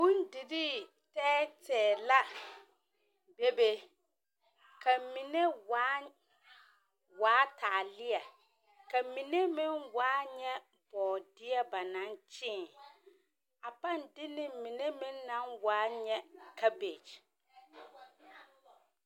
Bondirii tɛɛ tɛɛ la, bebe, ka mine waa, waa taalea. Ka mine meŋ waa nyɛ bɔɔdeɛ ba naŋ kyẽẽ. A paŋ de ne mine meŋ naŋ waa nyɛ kabegy.